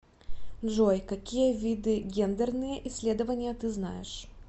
джой какие виды гендерные исследования ты знаешь